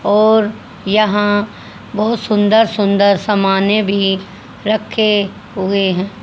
और यहां बहोत सुंदर सुंदर समाने भी रखे हुए हैं।